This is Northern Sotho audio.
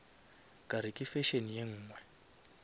kare ke fashion ye nngwe